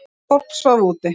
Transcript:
Fólk svaf úti.